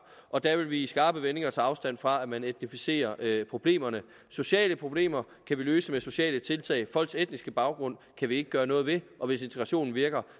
og der vil vi i skarpe vendinger tage afstand fra at man etnificerer problemerne sociale problemer kan vi løse med sociale tiltag men folks etniske baggrund kan vi ikke gøre noget ved og hvis integrationen virker